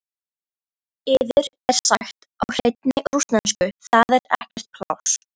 Yður er sagt á hreinni rússnesku: Það er ekkert pláss.